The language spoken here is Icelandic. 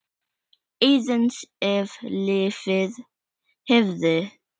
Aðeins ef lífið hefði.?